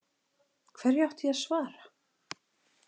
Hverju átti ég að svara?